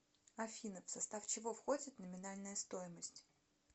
афина в состав чего входит номинальная стоимость